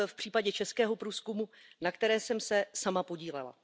v případě českého průzkumu, na kterém jsem se sama podílela.